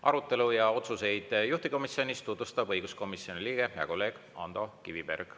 Arutelu ja otsuseid juhtivkomisjonis tutvustab õiguskomisjoni liige, hea kolleeg Ando Kiviberg.